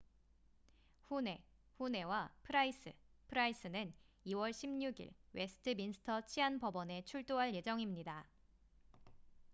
후네huhne와 프라이스pryce는 2월 16일 웨스트민스터 치안법원에 출두할 예정입니다